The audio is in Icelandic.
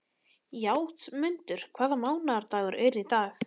Játmundur, hvaða mánaðardagur er í dag?